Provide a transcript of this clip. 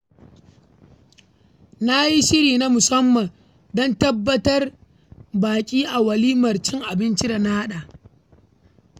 Na yi shiri na musamman don tarbar baƙi a walimar cin abinci da na haɗa.